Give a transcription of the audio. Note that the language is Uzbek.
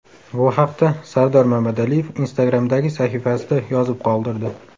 Bu haqda Sardor Mamadaliyev Instagram’dagi sahifasida yozib qoldirdi.